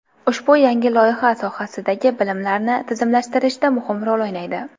Ushbu yangi loyiha sohadagi bilimlarni tizimlashtirishda muhim rol o‘ynaydi.